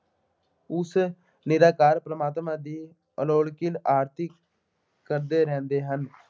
ਉਸ ਨਿਰੰਕਾਰ ਪ੍ਰਮਾਤਮਾ ਦੀ ਆਲੋਕਿਕ ਆਰਤੀ ਕਰਦੇ ਰਹਿੰਦੇ ਹਨ।